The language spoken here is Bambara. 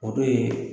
O dun ye